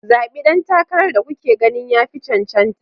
Zaɓi ɗan takarar da kuke ganin ya fi cancanta